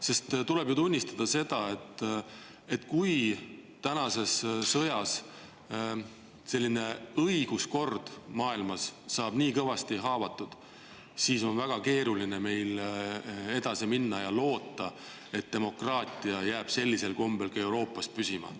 Sest tuleb ju tunnistada, et kui tänase sõja tõttu saab õiguskord maailmas kõvasti haavata, siis on väga keeruline meil edasi minna ja loota, et demokraatia jääb sellisel kombel Euroopas püsima.